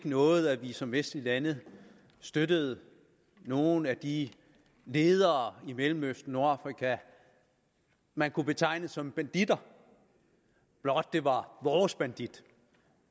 noget at vi som vestlige lande støttede nogle af de ledere i mellemøsten og nordafrika man kunne betegne som banditter blot det var vores banditter